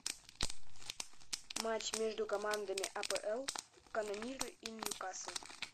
матч между командами апл канониры и ньюкасл